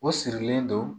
O sirilen don